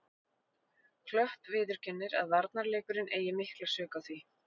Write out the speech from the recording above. Klöpp viðurkennir að varnarleikurinn eigi mikla sök á því.